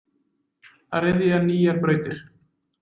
Að ryðja nýjar brautir.